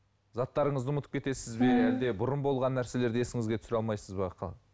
заттарыңызды ұмытып кетесіз бе әлде бұрын болған нәрселерді есіңізге түсіре алмайсыз ба